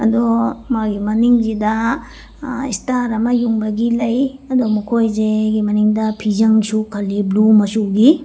ꯑꯗꯣ ꯃꯥꯒꯤ ꯃꯅꯤꯡꯖꯤꯗ ꯑ ꯁ꯭ꯇꯥꯔ ꯑꯃ ꯌꯨꯡꯕꯒꯤ ꯂꯩ ꯑꯗꯣ ꯃꯈꯣꯏꯁꯦꯒꯤ ꯃꯅꯤꯡꯗ ꯐꯤꯖꯡꯁꯨ ꯈꯜꯂꯤ ꯕ꯭ꯂꯨ ꯃꯆꯨꯒꯤ꯫